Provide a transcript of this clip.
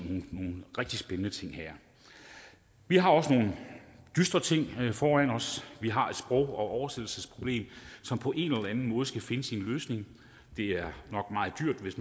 nogle rigtig spændende ting her vi har også nogle dystre ting foran os vi har et sprog og oversættelsesproblem som på en eller anden måde skal finde sin løsning det er nok meget dyrt hvis